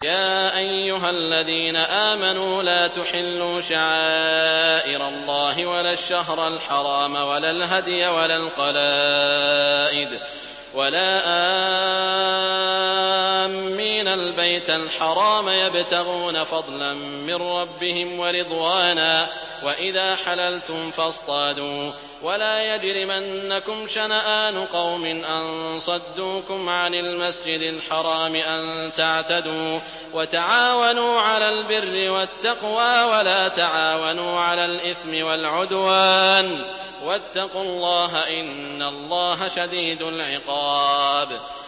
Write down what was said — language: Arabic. يَا أَيُّهَا الَّذِينَ آمَنُوا لَا تُحِلُّوا شَعَائِرَ اللَّهِ وَلَا الشَّهْرَ الْحَرَامَ وَلَا الْهَدْيَ وَلَا الْقَلَائِدَ وَلَا آمِّينَ الْبَيْتَ الْحَرَامَ يَبْتَغُونَ فَضْلًا مِّن رَّبِّهِمْ وَرِضْوَانًا ۚ وَإِذَا حَلَلْتُمْ فَاصْطَادُوا ۚ وَلَا يَجْرِمَنَّكُمْ شَنَآنُ قَوْمٍ أَن صَدُّوكُمْ عَنِ الْمَسْجِدِ الْحَرَامِ أَن تَعْتَدُوا ۘ وَتَعَاوَنُوا عَلَى الْبِرِّ وَالتَّقْوَىٰ ۖ وَلَا تَعَاوَنُوا عَلَى الْإِثْمِ وَالْعُدْوَانِ ۚ وَاتَّقُوا اللَّهَ ۖ إِنَّ اللَّهَ شَدِيدُ الْعِقَابِ